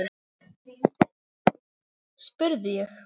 spurði ég.